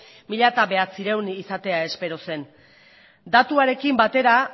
mila bederatziehun izatea espero zen datuarekin batera